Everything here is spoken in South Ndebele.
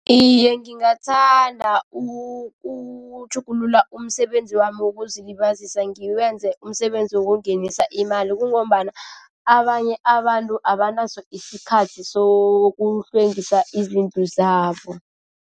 Iye, ngingathanda ukutjhugulula umsebenzi wami wokuzilibazisa ngiwenze umsebenzi wokungenisa imali. Kungombana abanye abantu abanaso isikhathi sokuhlwengisa izindlu zabo.